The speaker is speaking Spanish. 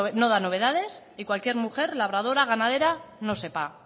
no da novedades que cualquier mujer labradora ganadera no sepa